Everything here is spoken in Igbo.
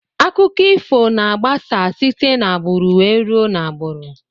Akụkọ ifo na agbasa site na agburu wee rue na agburu.